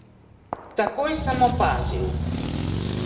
Takoj sem opazil.